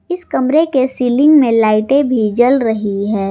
इस कमरे के सीलिंग में लाइटे भी जल रही है।